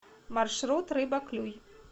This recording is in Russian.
маршрут рыба клюй